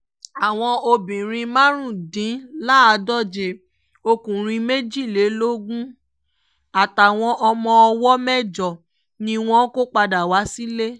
àwọn obìnrin márùndínláàádóje ọkùnrin méjìlélógún àtàwọn ọmọ ọwọ́ mẹ́jọ ni wọn kò padà wá sílé